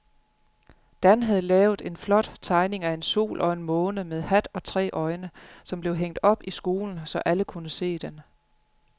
Dan havde lavet en flot tegning af en sol og en måne med hat og tre øjne, som blev hængt op i skolen, så alle kunne se den.